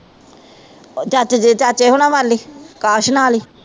ਚਾਚੇ ਜੇ ਚਾਚੇ ਹੁਣਾ ਵੱਲ ਹੀ ਅਕਾਸ਼ ਨਾਲ ਹੀ